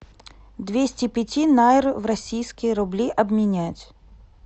двести пяти найр в российские рубли обменять